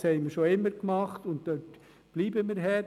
Das haben wir schon immer gemacht, und dort bleiben wir hart.